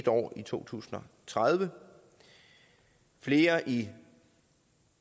år i to tusind og tredive flere i